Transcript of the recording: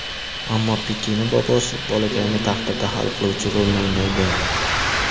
Ammo Pikening bobosi bolakayning taqdirida hal qiluvchi rolni o‘ynaydi.